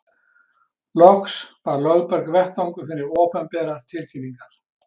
Loks var Lögberg vettvangur fyrir opinberar tilkynningar.